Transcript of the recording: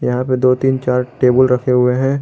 यहां पर दो तीन चार टेबल रखे हुए हैं।